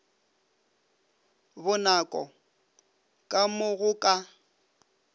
bonako ka mo go ka